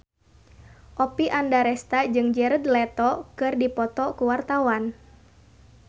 Oppie Andaresta jeung Jared Leto keur dipoto ku wartawan